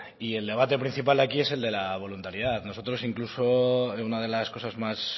y el debate principal aquí es el de la voluntariedad nosotros incluso una de las cosas más